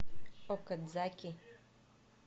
окадзаки